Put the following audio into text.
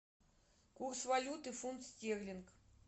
курс валюты фунт стерлинг